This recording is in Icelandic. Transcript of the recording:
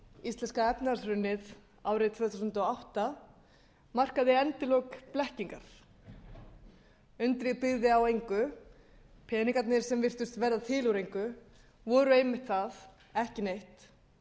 íslenska efnahagshrunið árið tvö þúsund og átta markaði endalok blekkingar undrið byggði á engu peningarnir sem virtust verða til úr engu voru einmitt það ekki neitt